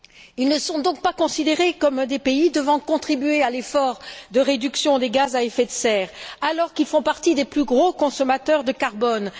Ils ne sont donc pas considérés comme des pays devant contribuer à l'effort de réduction des gaz à effet de serre, alors qu'ils font partie des plus gros consommateurs de carbone.